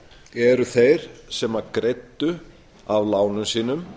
eru þeir sem greiddu af lánum sínum